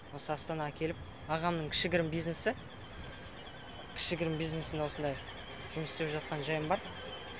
осы астанаға келіп ағамның кішігірім бизнесі кішігірім бизнесіне осындай жұмыс істеп жатқан жайым бар